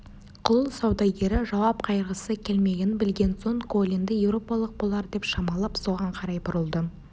құл саудагері жауап қайырғысы келмегенін білген соң колинді еуропалық болар деп шамалап соған қарай бұрылды